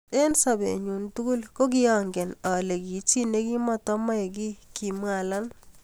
eng sopet nyu tukul kokiangenen ale ki chi nekimoto moae ki kimwa alan